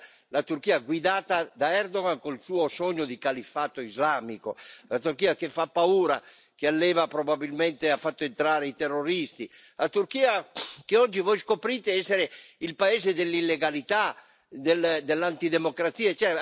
Non era la Turchia guidata da Erdoğan, con il suo sogno di califfato islamico, la Turchia che fa paura, che alleva e probabilmente ha fatto entrare i terroristi, la Turchia che oggi voi scoprite essere il paese dell'illegalità, dell'antidemocrazia.